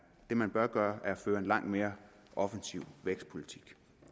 det man bør gøre er at føre en langt mere offensiv vækstpolitik